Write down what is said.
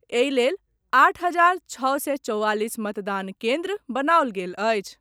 एहि लेल आठ हजार छओ सय चौवालीस मतदान केंद्र बनाओल गेल अछि।